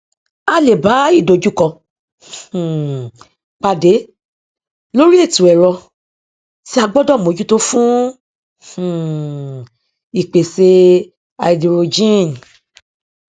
a le bá ìdojúkọ um pàdé lórí ètò ẹrọ tí a gbọdọ mójútó fún um ìpèsè háídírójìn